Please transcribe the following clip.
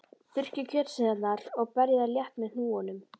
Þurrkið kjötsneiðarnar og berjið þær létt með hnúunum.